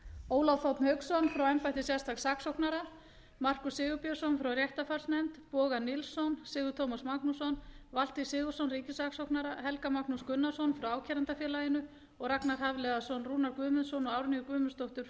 ólaf þ hauksson frá embætti sérstaks saksóknara markús sigurbjörnsson frá réttarfarsnefnd boga nilsson sigurð tómas magnússon valtý sigurðsson ríkissaksóknara helga magnús gunnarsson frá ákærendafélaginu og ragnar hafliðason rúnar guðmundsson og árnýju guðmundsdóttur frá